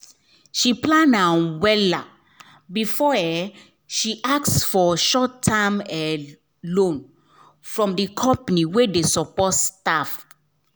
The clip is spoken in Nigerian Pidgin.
she plan am well before she ask for short-term loan from the company wey dey support staff